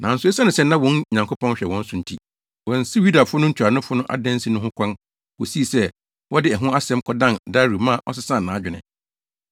Nanso esiane sɛ na wɔn Nyankopɔn hwɛ wɔn so nti, wɔansiw Yudafo ntuanofo no adansi no ho kwan kosii sɛ wɔde ɛho asɛm kɔdan Dario ma ɔsesaa nʼadwene.